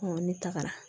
ne tagara